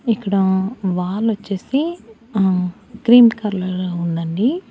ఇక్కడ వాల్ వచ్చేసి ఆ క్రీమ్ కలర్ లో ఉండండి.